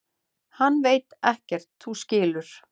Hann veit ekkert. þú skilur.